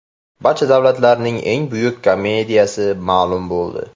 Barcha davrlarning eng buyuk komediyasi ma’lum bo‘ldi.